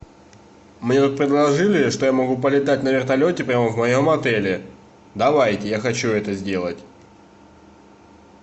мне тут предложили что я могу полетать на вертолете прямо в моем отеле давайте я хочу это сделать